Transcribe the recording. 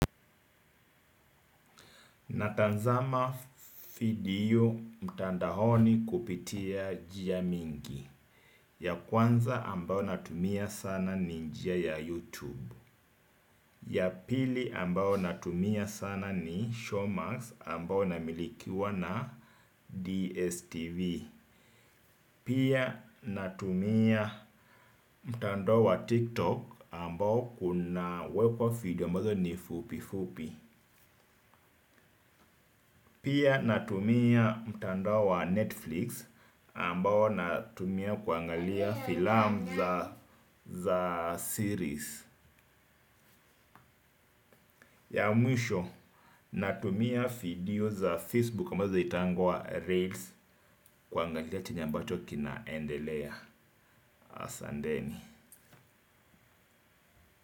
Natazama video mtandaoni kupitia njia mingi. Ya kwanza ambayo natumia sana ni njia ya YouTube. Ya pili ambayo natumia sana ni Showmax ambayo inamilikiwa na DSTV. Pia natumia mtandao wa TikTok, ambao una wekwa video ambazo ni fupi fupi. Pia natumia mtandao wa Netflix, ambao natumia kuangalia filamu za series. Ya mwisho, natumia video za Facebook ambazo zinaitwa Reels kuangalia chenye ambacho kinaendelea. Asanteni.